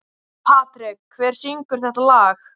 Patrek, hver syngur þetta lag?